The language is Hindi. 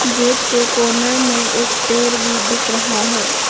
गेट के कॉर्नर मे एक पेड़ भी दिख रहा है।